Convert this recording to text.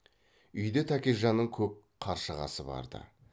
үйде тәкежанның көк қаршығасы бар ды